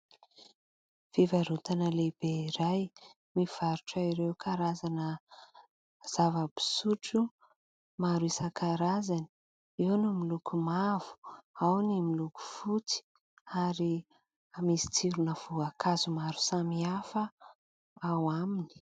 Fivarotana lehibe iray mivarotra ireo karazana zava-pisotro maro isankarazany: eo ny miloko mavo, ao ny miloko fotsy ary misy tsirona-voankazo maro samy hafa ao aminy.